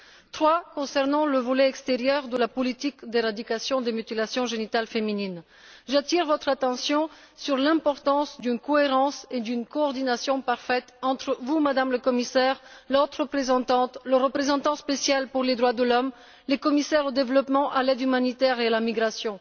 Troisièmement, concernant le volet extérieur de la politique d'éradication des mutilations génitales féminines, j'attire votre attention sur l'importance d'une cohérence et d'une coordination parfaite entre vous, Madame la Commissaire, la haute représentante, le représentant spécial des droits de l'homme et les commissaires au développement, à l'aide humanitaire et à la migration.